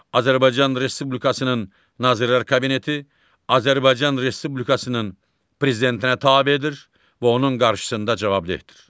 Azərbaycan Respublikasının Nazirlər Kabineti Azərbaycan Respublikasının prezidentinə tabedir və onun qarşısında cavabdehdir.